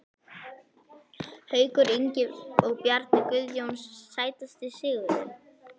Haukur Ingi og Bjarni Guðjóns Sætasti sigurinn?